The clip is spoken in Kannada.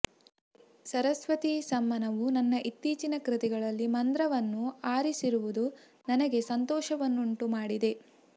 ಸರಸ್ವತೀ ಸಮ್ಮಾನವು ನನ್ನ ಇತ್ತೀಚಿನ ಕೃತಿಗಳಲ್ಲಿ ಮಂದ್ರವನ್ನು ಆರಿಸಿರುವುದು ನನಗೆ ಸಂತೋಷವನ್ನುಂಟು ಮಾಡಿದೆ